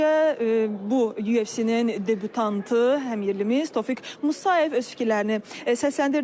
Əvvəlcə bu UFC-nin debütantı, həmyerlimiz Tofiq Musayev öz fikirlərini səsləndirdi.